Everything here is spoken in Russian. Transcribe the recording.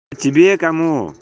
тебе кому